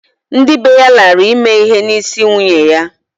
Ndị bee ya lara ime ihe n'isi nyunye ya